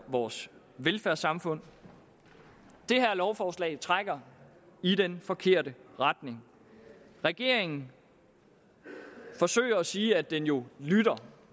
vores velfærdssamfund det her lovforslag trækker i den forkerte retning regeringen forsøger at sige at den jo lytter